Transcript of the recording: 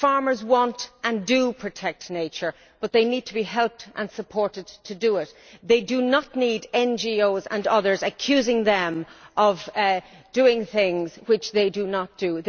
Farmers want to and do protect nature, but they need to be helped and supported to do it. They do not need NGOs and others accusing them of doing things which they do not do.